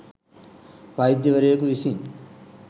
වෛද්‍යවරයෙකු විසින්